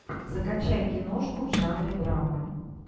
закачай киношку в жанре драма